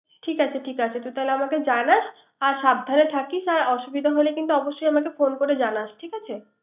ঠিক আছে ঠিক আছে তাহলে আমাকে জানাস, আর সাবধানে থাকিস। আর অসুবিধা হলে কিন্তু অবশ্যই আমাকে ফোন করে জানাইস